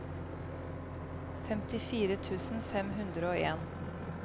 femtifire tusen fem hundre og en